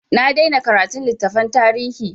Na daina karatun littafan tarihi.